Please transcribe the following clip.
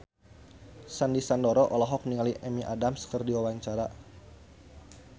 Sandy Sandoro olohok ningali Amy Adams keur diwawancara